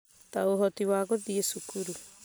ta ũhoti wa gũthiĩ cukuru.